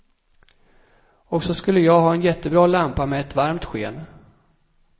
Och så skulle jag ha en jättebra lampa med ett varmt sken.